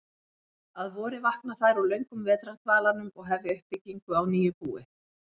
Að vori vakna þær úr löngum vetrardvalanum og hefja uppbyggingu á nýju búi.